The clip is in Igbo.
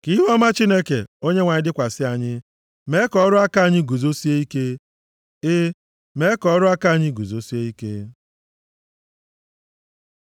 Ka ihuọma Chineke, Onyenwe anyị dịkwasị anyị; mee ka ọrụ aka anyị guzosie ike, e, mee ka ọrụ aka anyị guzosie ike.